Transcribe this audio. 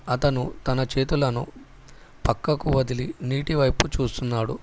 అతను తన చేతులను పక్కకు వదిలి నీటి వైపు చూస్తున్నాడు.